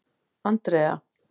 Andrea